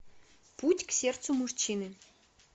путь к сердцу мужчины